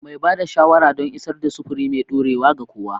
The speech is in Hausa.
Mai ba da shawara don isar da sufuri mai dorewa ga kowa.